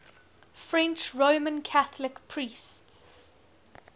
french roman catholic priests